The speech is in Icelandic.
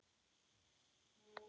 Sá hópur starfar enn.